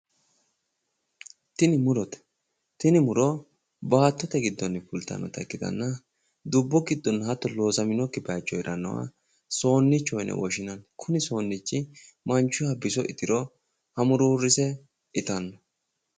Tini murote tini muro baattote giddonni fultannota ikkitanna dubbu giddonna hatto loosaminokki bayicho herrannoha soonniichoho yine woshinanni kuni soonnichi manchuyiha biso itiro hamuruurrise itanno